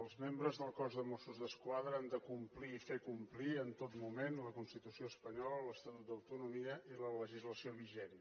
els membres del cos de mossos d’esquadra han de complir i fer complir en tot moment la constitució espanyola l’estatut d’autonomia i la legislació vigent